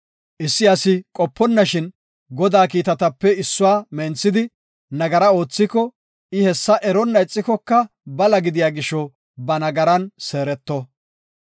Issi asi qoponnashin, Godaa kiitatape issuwa menthidi nagara oothiko I hessa eronna ixikoka bala gidiya gisho ba nagaran seereto.